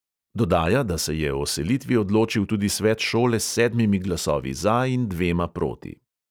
Dodaja, da se je o selitvi odločil tudi svet šole s sedmimi glasovi za in dvema proti.